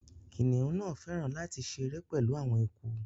Kiniun náá fẹràn lati ṣere pẹlu awọn eku